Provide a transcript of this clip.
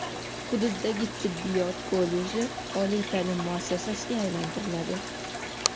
hududdagi tibbiyot kolleji oliy ta’lim muassasiga aylantiriladi.